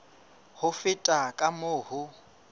ho feta ka moo ho